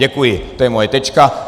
Děkuji, to je moje tečka.